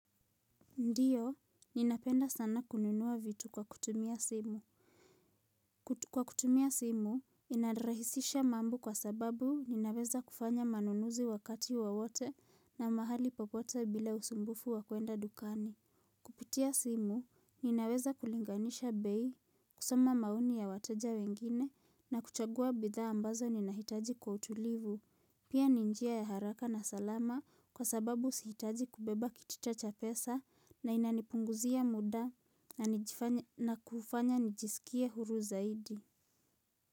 Ndiyo, ninapenda sana kununua vitu kwa kutumia simu kwa kutumia simu inarahisisha mambo kwa sababu ninaweza kufanya manunuzi wakati wowote na mahali popote bila usumbufu wa kwenda dukani. Pitia simu, ninaweza kulinganisha bei, kusoma maoni ya wateja wengine na kuchagua bidhaa ambazo ninahitaji kwa utulivu. Pia ni njia ya haraka na salama kwa sababu sihitaji kubeba kitita cha pesa na inanipunguzia muda na kufanya nijisikie huru zaidi.